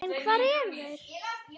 En hvar eru þeir?